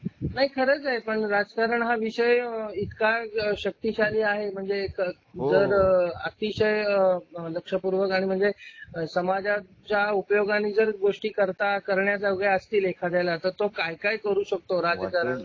नाही खरंच आहे पण राजकारण हा विषय इतका शक्तिशाली आहे म्हणजे जर अतिशय लक्षपूर्वक आणि म्हणजे समाजात उपयोग गोष्टी करीता करण्यात आल्या असतील एखाद्याला तो काय करू शकतो